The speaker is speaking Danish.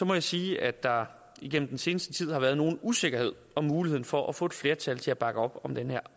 må jeg sige at der igennem den seneste tid har været nogen usikkerhed om muligheden for at få et flertal til at bakke op om den her